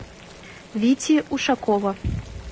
вити ушакова